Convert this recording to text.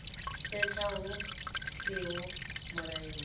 setsha hu siho mulayoni ndi